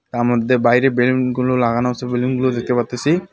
তারমধ্যে বাইরে বেলুনগুলো লাগানো আসে বেলুনগুলো দেখতে পারতেছি .